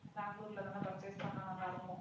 பெங்களூருல தான purchase பண்ண நல்லா இருக்கும்